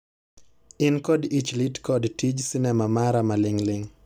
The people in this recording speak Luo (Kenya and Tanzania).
In kod ich lit kod tij sinema mara maling'ling'